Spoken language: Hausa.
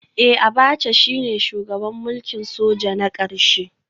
Eh Abacha shine shugaban mulkin soja na karshe